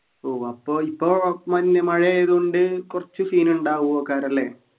ഓ അപ്പൊ ഇപ്പൊ മഞ്ഞു മഴയായതുകൊണ്ട് കൊറച്ചു scene ഉണ്ടാവുഒക്കാറല്ലേ